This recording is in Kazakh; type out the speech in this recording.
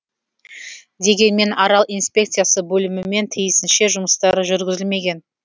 дегенмен арал инспекциясы бөлімімен тиісінше жұмыстар жүргізілмеген